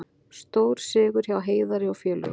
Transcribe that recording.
Stórsigur hjá Heiðari og félögum